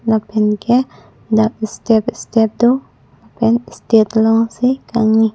lapen ke dak istep istep do pen stage long si kangni.